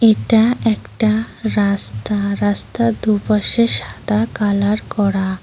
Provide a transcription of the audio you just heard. এটা একটা রাস্তা রাস্তার দু পাশে সাদা কালার করা।